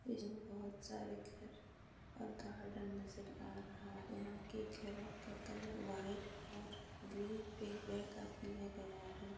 इसमे बहुत सारे घर और गार्डन नजर रहा। यहा के घरां घरों का कलर व्हाइट और ग्रे पिंक रेड का किया गया है।